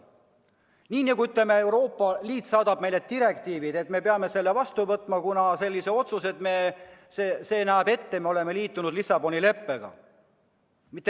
Nii nagu Euroopa Liit saadab meile direktiivi ja me peame selle vastu võtma, kuna me oleme liitunud Lissaboni leppega.